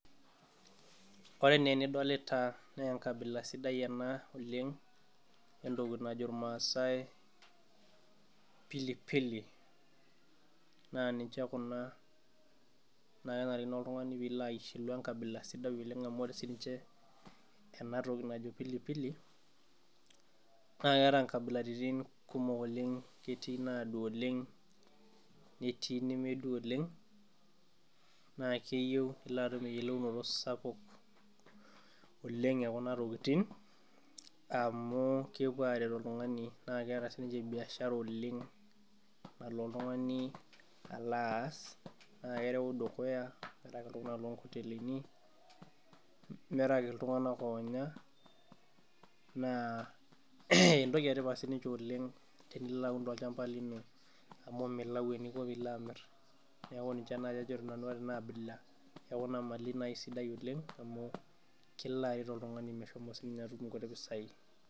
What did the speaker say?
Ore enaa enidolita naa enkabila sidai ena oleng' entoki najo ilmaasai pilipili naa ninche kuna naa kenarikino oltungani piilo ashilu engabila sidai oleng' amu ore siininje ena toki najo pilipili naa keeta inkabilaritin kumok oleng' Ketii inadwa oleng netii inemedwa oleng naa keyieu nilo atum eyiolounoto sapuk oleng e keret oltung'ani oleng' naa keeta siininje biashara oleng nalo oltung'ani alo aas naa kereu dukuya ata ngotelini nerewaki iltung'anak oonya naa entoki etipat siininje oleng tenilo aun tolchamba lino amu milau eninko piilo aun niaku ninje nai nanu ajo ore ena abila naa aisidai oleng amu kilo aret oltung'ani metutumo siininje nguti pisai